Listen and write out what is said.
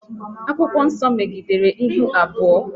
Akwụkwọ nso megidere ihu abụọ